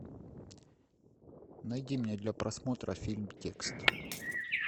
найди мне для просмотра фильм текст